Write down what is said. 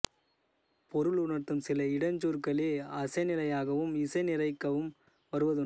பொருள் உணர்த்தும் சில இடைச்சொற்களே அசைநிலையாகவும் இசை நிறைக்கவும் வருவதுண்டு